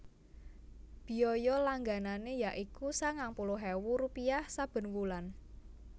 Biaya langganané ya iku sangang puluh ewu rupiah saben wulan